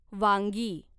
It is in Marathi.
वांगी